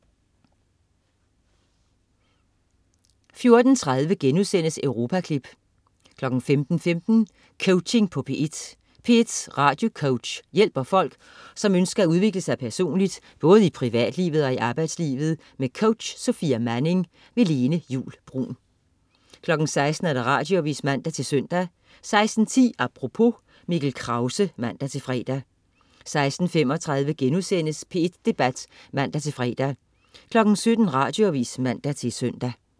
14.30 Europaklip* 15.15 Coaching på P1. P1s radiocoach hjælper folk, som ønsker at udvikle sig personligt, både i privatlivet og i arbejdslivet. Med coach Sofia Manning. Lene Juul Bruun 16.00 Radioavis (man-søn) 16.10 Apropos. Mikkel Krause (man-fre) 16.35 P1 Debat* (man-fre) 17.00 Radioavis (man-søn)